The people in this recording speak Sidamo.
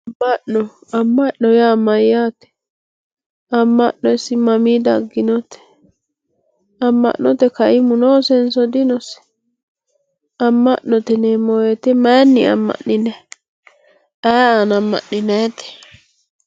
Mama'no ama' no yaa mayate ama'no isi mamai daginote ama'note kaimu noosenso dinose ama'note yinemo woyite mayini ama'ninayi ayi aana amam'ninayite.